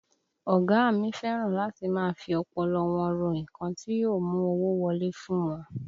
Ọ̀gá a mi fẹ́ràn láti máa fi ọpọlọ wọn ro nǹkan tí yóò mú owó wọlé fún wọn